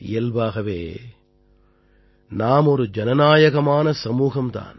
இயல்பாகவே நாம் ஒரு ஜனநாயக சமூகம் தான்